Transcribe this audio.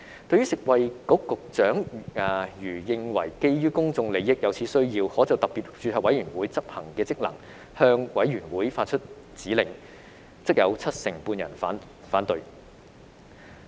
對於食物及衞生局局長如認為基於公眾利益而有此需要，可就特別註冊委員會執行的職能向委員會發出指令，則有七成半人反對。